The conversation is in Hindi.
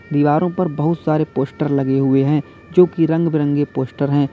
दीवारों पर बहुत सारे पोस्टर लगे हुए हैं जो कि रंग बिरंगे पोस्टर हैं।